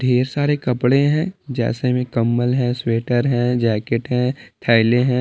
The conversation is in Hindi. ढेर सारे कपड़े हैं जैसे में कम्बल हैं स्वेटर हैं जैकेट हैं थैलें हैं--